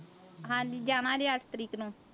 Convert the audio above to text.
ਹਾਂਜੀ ਜਾਣਾ ਜੀ ਅੱਠ ਤਰੀਕ ਨੂੰ।